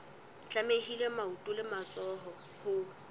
tlamehile maoto le matsoho ho